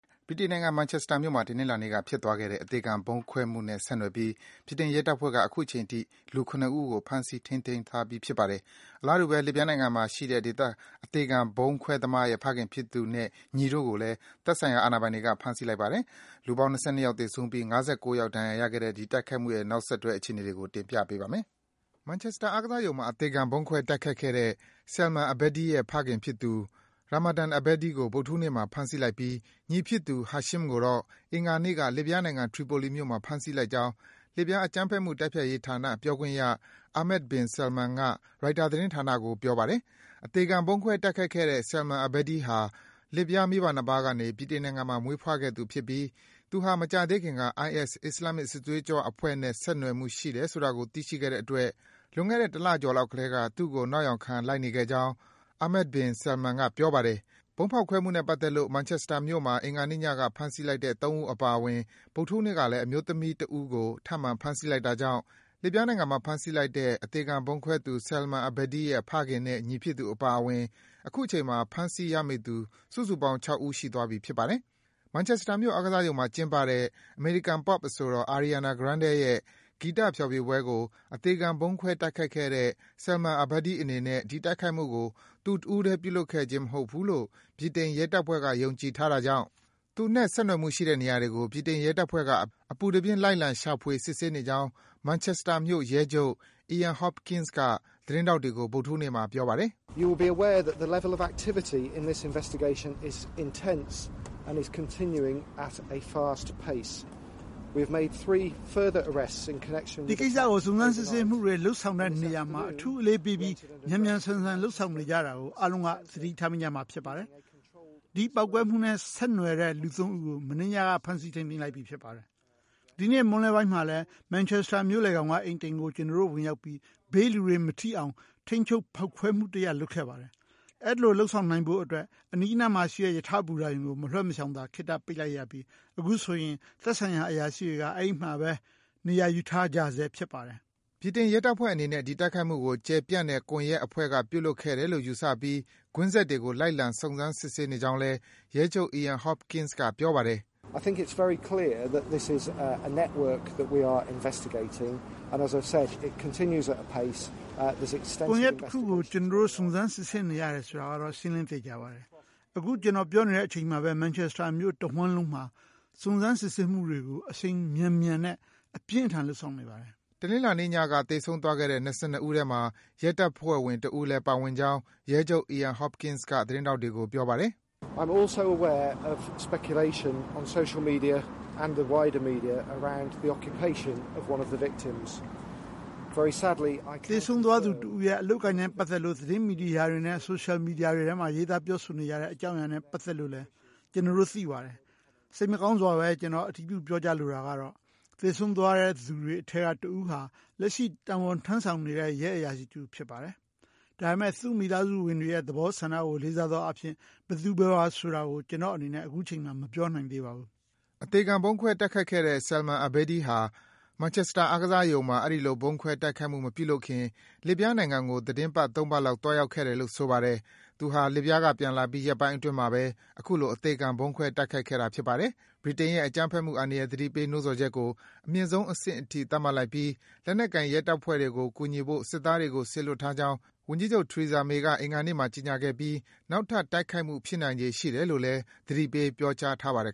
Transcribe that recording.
ဗြိတိန်နိုင်ငံ Manchester မြို့မှာ တနင်္လာနေ့ ဖြစ်သွားခဲ့တဲ့ အသေခံ ဗုံးဖောက်ခွဲမှုနဲ့ ဆက်နွှယ်ပြီး ဗြိတိန် ရဲတပ်ဖွဲ့က အခုချိန်ထိ လူ ၇ ဦးကို ဖမ်းဆီး ထိန်းသိမ်းထားပြီ ဖြစ်ပါတယ်။ အလားတူပဲ လစ်ဗျားနိုင်ငံမှာရှိတဲ့ အသေခံ ဗုံးခွဲသမားရဲ့ဖခင်ဖြစ်သူနဲ့ ညီတို့ကိုလည်း သက်ဆိုင်ရာ အာဏာပိုင်တွေက ဖမ်းဆီး လိုက်ပါတယ်။ လူပေါင်း ၂၂ ယောက် သေဆုံးပြီး ၅၉ ယောက် ဒဏ်ရာရခဲ့တဲ့ ဒီ တိုက်ခိုက်မှုရဲ့ နောက်ဆုံး အခြေအနေတွေကို ကိုဇော်ဝင်းလှိုင်က စုစည်း တင်ပြပေးထားပါတယ်။ Manchester အားကစားရုံမှာ အသေခံ ဗုံးခွဲ တိုက်ခိုက်ခဲ့တဲ့ Salman Abedi ရဲ့ ဖခင်ဖြစ်သူ Ramadan Abedi ကို ဗုဒ္ဓဟူးနေ့မှာ ဖမ်းဆီးလိုက်ပြီး ညီဖြစ်သူ Hashim ကိုတော့ အင်္ဂါနေ့က လစ်ဗျားနိုင်ငံ ထရီပိုလီမြို့မှာ ဖမ်းဆီး လိုက်ကြောင်း လစ်ဗျား အကြမ်းဖက်မှု တိုက်ဖျက်ရေးဌာန ပြောခွင့်ရ Ahmed bin Salem က ရိုက်တာ သတင်းဌာနကို ပြောကြားပါတယ်။ အသေခံဗုံးခွဲ တိုက်ခိုက်ခဲ့ Salman Abedi ဟာ လစ်ဗျား မိဘနှစ်ပါးကနေ ဗြိတိန်နိုင်ငံမှာ မွေးဖွားခဲ့သူ ဖြစ်ပြီး သူဟာ မကြာသေးခင်က IS အစ္စလာမ်မစ် စစ်သွေးကြွအဖွဲ့နဲ့ ဆက်နွယ်မှုရှိတယ်ဆိုတာကို သိရှိခဲ့တဲ့အတွက် လွန်ခဲ့တဲ့ တလကျော်လောက်ကတည်းက သူ့ကို နောက်ယောင်ခံ လိုက်နေခဲ့ကြောင်း Ahmed bin Salem က ပြောပါတယ်။ ဗုံးဖောက်ခွဲမှုနဲ့ပတ်သက်လို့ Manchester မြို့မှာ အင်္ဂါနေ့ညက ဖမ်းဆီးလိုက်တဲ့ ၃ ဦး အပါအဝင် ဗုဒ္ဓဟူးနေ့ကလည်း အမျိုးသမီးတဦးကို ထပ်မံ ဖမ်းဆီးလိုက်တာကြောင့် လစ်ဗျားနိုင်ငံမှာ ဖမ်းဆီးလိုက်တဲ့ အသေခံဗုံးခွဲသူ Salman Abedi ရဲ့ ဖခင်နဲ့ ညီဖြစ်သူ အပါအဝင် အခုချိန်မှာ ဖမ်းဆီး ရမိသူ စုစုပေါင်း ၇ ဦး ရှိသွားပြီ ဖြစ်ပါတယ်။ Manchester မြို့ အားကစားရုံမှာ ကျင်းပတဲ့ အမေရိကန် Pop အဆိုတော် Ariana Grande ရဲ့ ဂီတဖျော်ဖြေပွဲကို အသေခံဗုံးခွဲ တိုက်ခိုက်ခဲ့တဲ့ Salman Abedi အနေနဲ့ ဒီတိုက်ခိုက်မှုကို သူတဦးထဲ ပြုလုပ်ခဲ့ခြင်း မဟုတ်ဘူးလို့ ဗြိတိန် ရဲတပ်ဖွဲ့က ယုံကြည် ထားကြတာကြောင့် သူနဲ့ ဆက်နွယ်မှု ရှိတဲ့နေရာတွေကို ဗြိတိန် ရဲတပ်ဖွဲ့က အပူတပြင်း လိုက်လံ ရှာဖွေ စစ်ဆေးနေကြောင်း Manchester မြို့ ရဲချုပ် Ian Hopkins က သတင်းထောက်တွေကို ဗုဒ္ဓဟူးနေ့က ပြောပါတယ်။ “ ဒီကိစ္စကို စုံစမ်း စစ်ဆေးမှုတွေ လုပ်ဆောင်တဲ့နေရာမှာ အထူးအလေးပေးပြီး မြန်မြန်ဆန်ဆန် လုပ်ဆောင်နေကြတာကို အားလုံးက သတိထားမိကြမှာ ဖြစ်ပါတယ်။ ဒီပေါက်ကွဲမှုနဲ့ ဆက်နွယ်တဲ့လူ ၃ ဦးကို မနေ့ညက ဖမ်းဆီး ထိန်းသိမ်းလိုက်ပြီး ဖြစ်ပါတယ်။ ဒီနေ့ မွန်းလွဲပိုင်းမှာလည်း Manchester မြို့လယ်ခေါင်က အိမ်တအိမ်ကို ကျနော်တို့ ဝင်ရောက်ပြီး ဘေးလူတွေ မထိအောင် ထိန်းချုပ် ဖောက်ခွဲမှုတရပ် လုပ်ခဲ့ပါတယ်။ အဲဒီလို လုပ်ဆောင်နိုင်ဖို့အတွက် အနီးနားမှာရှိတဲ့ ရထားဘူတာရုံကို မလွဲမရှောင်သာ ခေတ္တ ပိတ်လိုက်ရပြီး အခုဆိုရင် သက်ဆိုင်ရာ အရာရှိတွေဟာ အဲဒီမှာပဲ နေရာယူထားကြဆဲ ဖြစ်ပါတယ်။ ” ဗြိတိန် ရဲတပ်ဖွဲ့အနေနဲ့ ဒီ တိုက်ခိုက်မှုကို ကျယ်ပြန့်တဲ့ ကွန်ယက်အဖွဲ့က ပြုလုပ်ခဲ့တယ်လို့ ယူဆပြီး ကွင်းဆက်တွေကို လိုက်လံ စုံစမ်းနေကြောင်းလည်း ရဲချုပ် Ian Hopkins က ပြောပါတယ်။ “ ကွန်ယက်အဖွဲ့ တခုကို ကျနော်တို့ စုံစမ်း စစ်ဆေးနေရတယ်ဆိုတာကတော့ ရှင်းလင်း သေချာပါတယ်။ အခု ကျနော် ပြောနေတဲ့အချိန်မှာပဲ Manchester မြို့တဝှမ်းလုံးမှာ စုံစမ်း စစ်ဆေးမှုတွေကို အရှိန်မြန်မြန်နဲ့ အပြင်းအထန် လုပ်ဆောင်နေပါတယ်။” တနင်္လာနေ့ညက သေဆုံးသွားတဲ့ ၂၂ ဦးထဲမှာ ရဲတပ်ဖွဲ့ဝင်တဦးလည်း ပါဝင်ကြောင်း ရဲချုပ် Ian Hopkins က သတင်းထောက်တွေကို ပြောပါတယ်။ “ သေဆုံးသွားသူ တဦးရဲ့အလုပ်အကိုင်နဲ့ ပတ်သက်လို့ သတင်း မီဒီယာတွေနဲ့ ဆိုရှယ် မီဒီယာတွေမှာ ရေးသား ပြောဆိုနေကြတဲ့ အကြောင်းအရာနဲ့ပတ်သက်လို့လည်း ကျနော်တို့ သိပါတယ်။ စိတ်မကောင်းစွာပဲ ကျနော် အတည်ပြု ပြောကြားလိုတာကတော့ သေဆုံးသွားသူတွေထဲက တဦးဟာ လက်ရှိ တာဝန်ထမ်းဆောင်နေတဲ့ ရဲအရာရှိတဦးဖြစ်ပါတယ်။ ဒါပေမယ့် သူ့မိသားစုဝင်တွေရဲ့ သဘောဆန္ဒကို လေးစားသောအားဖြင့် ဘယ်သူ ဘယ်ဝါ ဆိုတာကို ကျနော့်အနေနဲ့ အခုချိန်မှာ မပြောနိုင်သေးပါဘူး။” အသေခံ ဗုံးခွဲ တိုက်ခိုက်ခဲ့တဲ့ Salman Abedi ဟာ Manchester အားကစားရုံမှာ အဲဒီလို ဗုံးခွဲ တိုက်ခိုက်မှု မပြုခင် လစ်ဗျားနိုင်ငံကို သီတင်းပတ် ၃ ပတ်လောက် သွားရောက်ခဲ့တယ်လို့ ဆိုပါတယ်။ သူဟာ လစ်ဗျားက ပြန်လာပြီး ရက်ပိုင်းအတွင်းမှာပဲ အခုလို အသေခံ ဗုံးခွဲ တိုက်ခိုက်ခဲ့တာ ဖြစ်ပါတယ်။ ဗြိတိန်နိုင်ငံရဲ့ အကြမ်းဖက်မှု အန္တရာယ် သတိပေး နိုးဆော်ချက်ကို အမြင့်ဆုံးအဆင့်အထိ သတ်မှတ်လိုက်ပြီး လက်နက်ကိုင် ရဲတပ်ဖွဲ့တွေကို ကူညီဖို့ စစ်သားတွေကို စေလွတ်ထားကြောင်း ဝန်ကြီးချုပ် Theresa May က အင်္ဂါနေ့မှာ ကြေညာခဲ့ပြီး နောက်ထပ် တိုက်ခိုက်မှု ဖြစ်နိုင်ခြေ ရှိတယ်လို့လည်း သတိပေး ပြောကြားထားပါတယ်